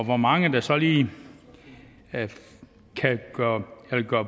hvor mange der så lige vil gøre